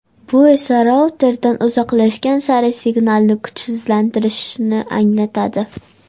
Bu esa routerdan uzoqlashgan sari signalning kuchsizlanishini anglatadi.